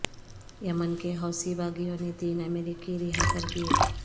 یمن کے حوثی باغیوں نے تین امریکی رہا کردیے